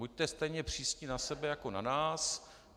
Buďte stejně přísní na sebe jako na nás.